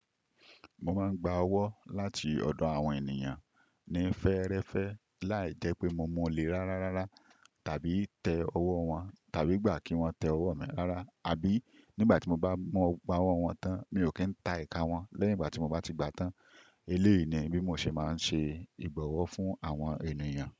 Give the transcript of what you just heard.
Mo máa ń gba ọwọ́ láti ọ̀dọ̀ àwọn ènìyàn ní fẹ́ẹ́rẹ́fẹ́ láì jẹ́ pé mo mú lè rárá rárá tàbí tẹ ọwọ́ wọn tàbí gbà kí wọ́n tẹ ọwọ́ mi rárá, àbí nígbà tí mo bá mọ gba ọwọ wọn tán, mi ò kí ń ta ìká wọn lẹ́yìn ìgbà ti mo ba ti gbà tán. Eleyi ni bí mo ṣe máa ń ṣe ìbọ̀wọ̀ fún àwọn ènìyàn.